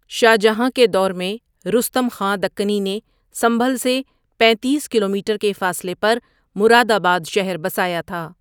شا ہ جہاں کے دور میں رستم خاں دکنی نے سنبھل سے پینتیس کلومیٹر کے فاصلے پر مرادآباد شہر بسایا تھا ۔